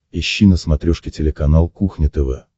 ищи на смотрешке телеканал кухня тв